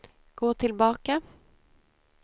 gå tillbaka